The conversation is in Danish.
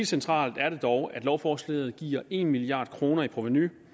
centralt at lovforslaget giver en milliard kroner i provenu